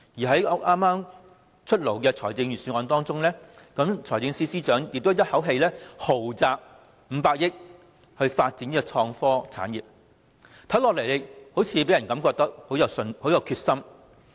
在剛出台的財政預算案中，財政司司長亦一口氣"豪擲 "500 億元發展創科產業，令人感覺他非常有決心。